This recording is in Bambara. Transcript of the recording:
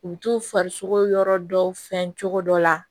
U bi t'u fari sogo yɔrɔ dɔw fɛn cogo dɔ la